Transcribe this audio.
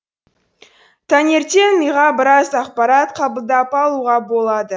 таңертең миға біраз ақпарат қабылдап алуға болады